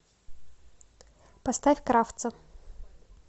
поставь кравца